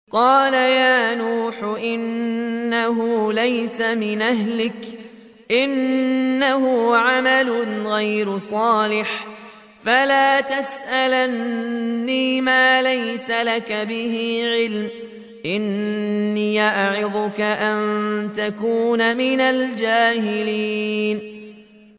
قَالَ يَا نُوحُ إِنَّهُ لَيْسَ مِنْ أَهْلِكَ ۖ إِنَّهُ عَمَلٌ غَيْرُ صَالِحٍ ۖ فَلَا تَسْأَلْنِ مَا لَيْسَ لَكَ بِهِ عِلْمٌ ۖ إِنِّي أَعِظُكَ أَن تَكُونَ مِنَ الْجَاهِلِينَ